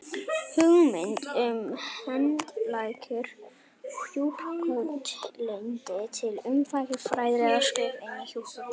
Hugmyndin um heildræna hjúkrun leiddi til umfangsmikilla fræðilegra skrifa innan hjúkrunar.